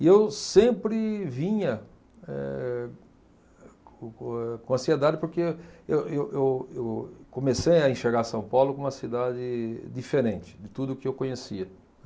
E eu sempre vinha eh co co eh com ansiedade porque eu eu eu comecei a enxergar São Paulo como uma cidade diferente de tudo que eu conhecia.